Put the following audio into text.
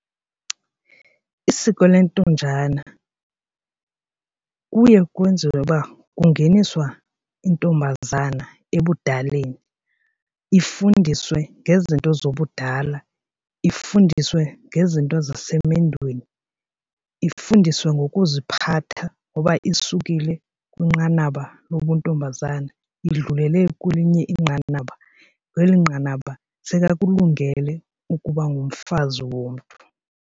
Isiko intonjana kuye kwenziwe uba kungeniswa intombazana ebudaleni ifundiswe ngezinto zobudala, ifundiswe ngezinto zisemendweni, ifundiswe ngokuziphatha ngoba isukile kwinqanaba lobuntombazana idlulele kwelinye inqanaba. Kweli nqanaba sekakulungele ukuba ngumfazi womntu.